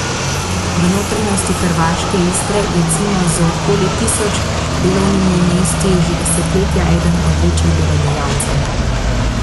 V notranjosti hrvaške Istre je Cimos z okoli tisoč delovnimi mesti že desetletja eden od večjih delodajalcev.